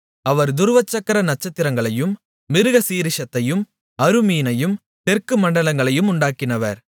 அவர் துருவச்சக்கர நட்சத்திரங்களையும் மிருகசீரிஷத்தையும் அறுமீனையும் தெற்கு மண்டலங்களையும் உண்டாக்கினவர்